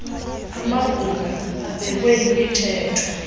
amabhunga abekwe yimithetho